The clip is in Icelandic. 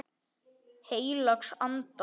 Heilags Anda.